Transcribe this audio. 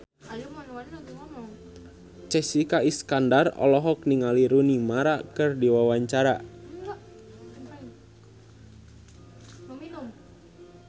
Jessica Iskandar olohok ningali Rooney Mara keur diwawancara